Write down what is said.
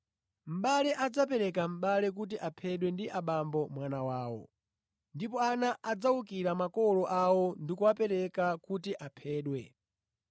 “Mʼbale adzapereka mʼbale kuti aphedwe ndi abambo mwana wawo: ndipo ana adzawukira makolo awo ndi kuwapereka kuti aphedwe.